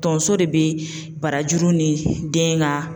Tonso de be barajuru ni den ka